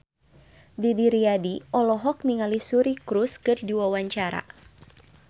Didi Riyadi olohok ningali Suri Cruise keur diwawancara